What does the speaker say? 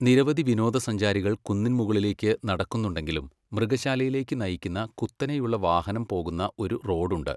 നിരവധി വിനോദസഞ്ചാരികൾ കുന്നിൻ മുകളിലേക്ക് നടക്കുന്നുണ്ടെങ്കിലും മൃഗശാലയിലേക്ക് നയിക്കുന്ന കുത്തനെയുള്ള വാഹനം പോകുന്ന ഒരു റോഡ് ഉണ്ട്.